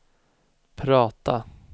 prata